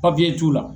papiye t'u la